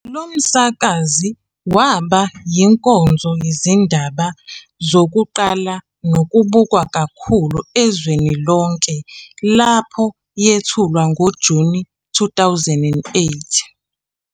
Lo msakazi waba yinkonzo yezindaba yokuqala nokubukwa kakhulu ezweni lonke lapho yethulwa ngoJuni 2008.